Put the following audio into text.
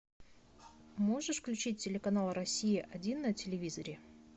можешь включить телеканал россия один на телевизоре